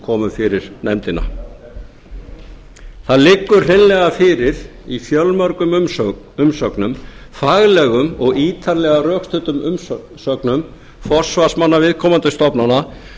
komu fyrir nefndina það liggur hreinlega fyrir í fjölmörgum umsögnum faglegum og ítarlega rökstuddum umsögnum forsvarsmanna viðkomandi stofnana